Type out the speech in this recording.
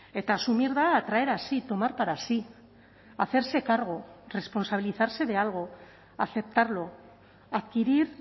eta asumir da atraer a sí tomar para sí hacerse cargo responsabilizarse de algo aceptarlo adquirir